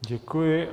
Děkuji.